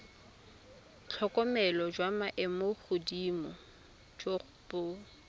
tlhokomelo jwa maemogodimo jo bo